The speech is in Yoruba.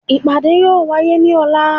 ipáde yóò waye ní ola